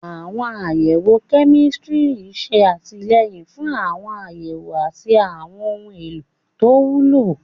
Àwọn àyẹ̀wò kẹ́míkà ń ṣe àtìlẹ́yìn fún àwọn àyẹ̀wò àti àwọn ohun èlò tó wúlò.